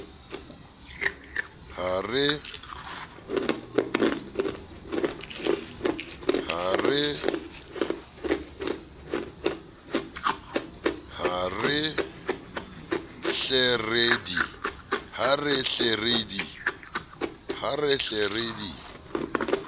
ha re hle re di